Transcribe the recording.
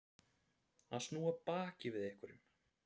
Að snúa baki við einhverjum